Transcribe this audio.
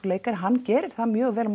leikari hann gerir það mjög vel